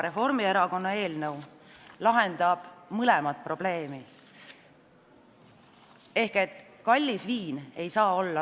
Reformierakonna eelnõu eesmärk on lahendada mõlemat probleemi.